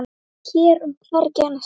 Hér og hvergi annars staðar.